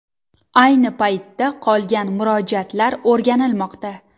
Ayni paytda qolgan murojaatlar o‘rganilmoqda.